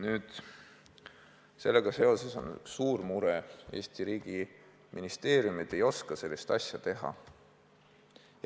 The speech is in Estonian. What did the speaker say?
Nüüd, sellega seoses on meil üks suur mure: Eesti riigi ministeeriumid ei oska sellist asja teha.